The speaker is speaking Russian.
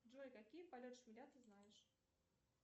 джой какие полет шмеля ты знаешь